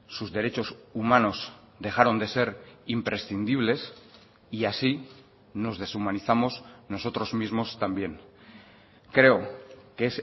sus derechos humanos dejaron de ser imprescindibles y así nos deshumanizamos nosotros mismos también creo que